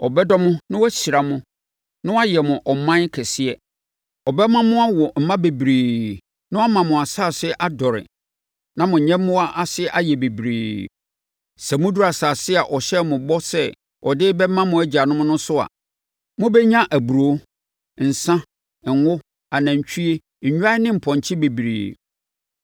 Ɔbɛdɔ mo na wahyira mo na wayɛ mo ɔman kɛseɛ. Ɔbɛma mo awo mma bebree na wama mo asase adɔre na mo nyɛmmoa ase ayɛ bebree. Sɛ moduru asase a ɔhyɛɛ ho bɔ sɛ ɔde bɛma mo agyanom no so a, mobɛnya aburoo, nsã, ngo, anantwie, nnwan ne mpɔnkye bebree.